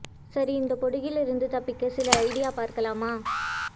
சரி இந்த பொடுகில் இருந்து தப்பிக்க சில ஐடியா பார்க்கலாமா